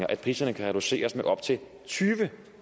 kan priserne reduceres med op til tyve